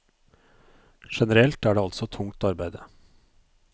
Generelt er det altså tungt arbeide.